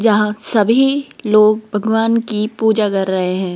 जहां सभी लोग भगवान की पूजा कर रहे हैं।